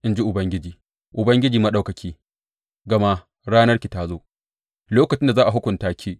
in ji Ubangiji, Ubangiji Maɗaukaki, gama ranarki ta zo, lokacin da za a hukunta ki.